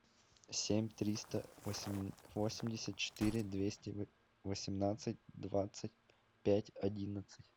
семь триста восемьдесят четыре двести восемнадцать двадцать пять одиннадцать